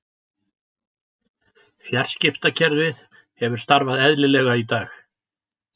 Fjarskiptakerfið hefur starfað eðlilega í dag